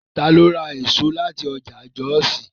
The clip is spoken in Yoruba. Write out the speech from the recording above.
Ta ló ra èso láti ọjà Jọ́òsì?